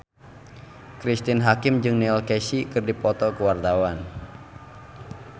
Cristine Hakim jeung Neil Casey keur dipoto ku wartawan